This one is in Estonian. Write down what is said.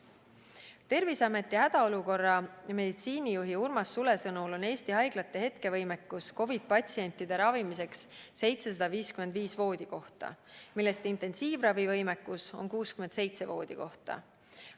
Terviseameti hädaolukorra meditsiinijuhi Urmas Sule sõnul on Eesti haiglate hetkevõimekus COVID-patsientide ravimiseks 755 voodikohta, millest intensiivravivõimekus on 67 voodikohta.